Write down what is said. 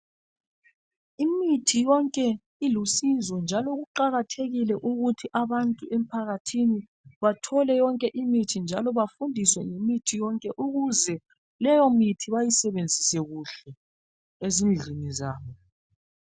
Imithi yonke ilusizo njalo kuqakathekile ukuthi abantu emphakathini bathole yonke imithi njalo bafundiswe ngemithi yonke ukuze leyomithi bayisebenzise kuhle ezindlini zabo.